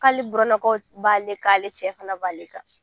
K'ale burannakaw b'ale kan ale cɛ fana b'ale kan